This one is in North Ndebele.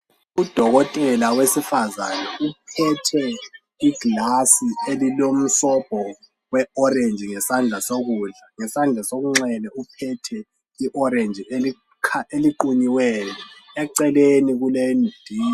U dokotela wesifazana uphethe i glass elilomsobho we orange ngesandla sokudla ngesandla sokunxele uphethe i orange eliqunyiweyo eceleni kule.